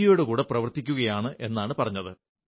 ഒയുടെ കൂടെ പ്രവർത്തിക്കയാണ് എന്നാണു പറഞ്ഞത്